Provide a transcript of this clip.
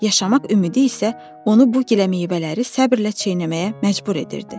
Yaşamaq ümidi isə onu bu giləmeyvələri səbirlə çeynəməyə məcbur edirdi.